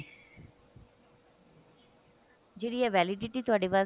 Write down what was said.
ਜਿਹੜੀ ਇਹ validity ਤੁਹਾਡਾ ਵਾਸਤੇ